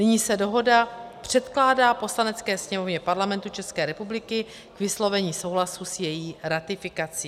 Nyní se dohoda předkládá Poslanecké sněmovně Parlamentu České republiky k vyslovení souhlasu s její ratifikací.